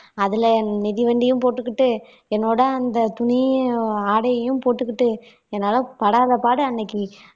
அதுல மிதிவண்டியும் போட்டுகிட்டு என்னோட அந்த துணியையும் ஆடையையும் போட்டுக்கிட்டு என்னால படாதபாடு அன்னைக்கு